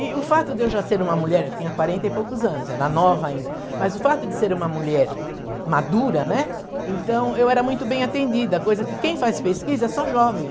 E o fato de eu já ser uma mulher, eu tinha quarenta e poucos anos, era nova ainda, mas o fato de ser uma mulher madura, né, então eu era muito bem atendida, coisa que quem faz pesquisa é só jovem.